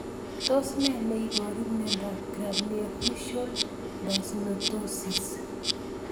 Tos nee neiparu miondop Craniofacial dyssynostosis